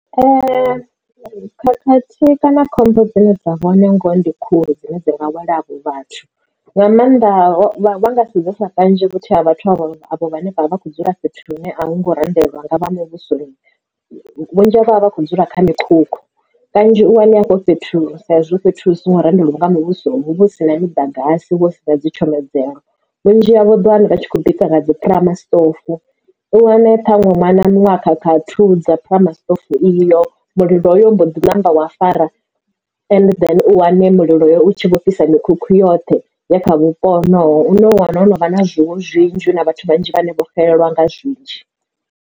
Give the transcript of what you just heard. Khakhathi kana khombo dzine dza vhone ngoho ndi khulu dzine dzi nga wela avho vhathu. Nga maanḓa vha nga sedzesa kanzhi vhathu avho vhane vha vha vha kho dzula fhethu hune a hu ngo randelwa nga vha muvhuso vhunzhi havho vha vha kho dzula kha mikhukhu. Kanzhi u wane hafho fhethu sa zwo fhethu hu songo randelwaho nga muvhuso hu vha hu si na miḓagasi huvha hu sina dzi tshomedzelo vhunzhi havho u ḓowana vha tshi khou bika nga dzi phurama stove u wane ṱhaṅwe ṅwana muṅwe a khakha a thudza phurama stove iyo mulilo hoyo u mbo ḓi namba wa fara and then u wane mulilo u tshi vho fhisa mikhukhu yoṱhe ya kha vhupo honovho une u wana wo no vha na zwiṅwe zwinzhi na vhathu vhanzhi vhane vho xelelwa nga zwinzhi.